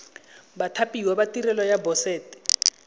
bathapiwa ba tirelo ya boset